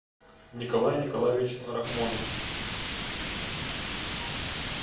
николай николаевич рахмонов